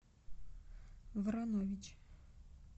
воронович